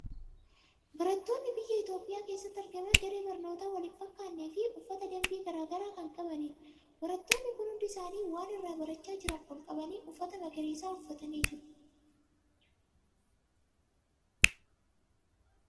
Barattoonni biyya Itoophiyaa keessatti argaman daree barnootaa wal hin fakkaatnee fi uffata dambii garaa garaa kan qabanidha. Barattoonni kun hundi isaanii waan irraa barachaa jiran ol qabanii, uffata magariisa uffatanii jiru.